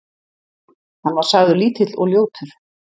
Hann var sagður lítill og ljótur.